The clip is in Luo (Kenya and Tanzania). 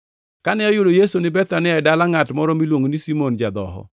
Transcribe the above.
Kane oyudo Yesu ni Bethania e dala ngʼat moro miluongo ni Simon ja-dhoho,